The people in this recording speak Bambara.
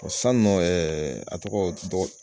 bɔn San nɔ ɛɛ a tɔgɔ dɔgɔ